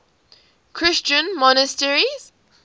christian monasteries